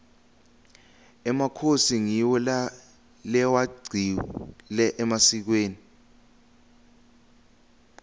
emakhosi ngiwo lewagcile emasikweni